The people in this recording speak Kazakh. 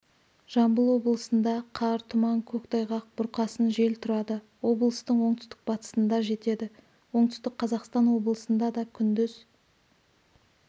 жамбыл облысында қар тұман көктайғақ бұрқасын жел тұрады облыстың оңтүстік-батысында жетеді оңтүстік қазақстан облысында да күндіз